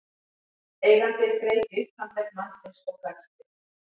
Eigandinn greip í upphandlegg mannsins og hvæsti